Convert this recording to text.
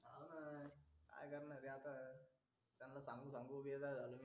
लागू दे ना